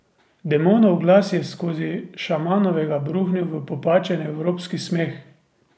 Demonov glas je skozi šamanovega bruhnil v popačen evropski smeh.